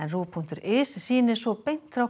RÚV punktur is sýnir svo beint frá